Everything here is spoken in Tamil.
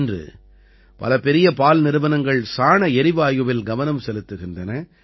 இன்று பல பெரிய பால் நிறுவனங்கள் சாண எரிவாயுவில் கவனம் செலுத்துகின்றன